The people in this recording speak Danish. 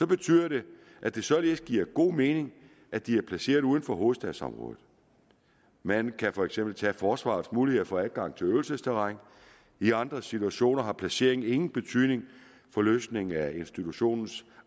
betyder det at det således giver god mening at de er placeret uden for hovedstadsområdet man kan for eksempel tage forsvarets mulighed for adgang til øvelsesterræn i andre situationer har placeringen ingen betydning for løsningen af institutionens